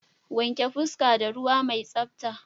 Wanke fuska da ruwa mai tsabta.